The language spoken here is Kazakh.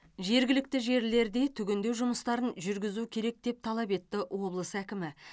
жергілікті жерлерде түгендеу жұмыстарын жүргізу керек деп талап етті облыс әкімі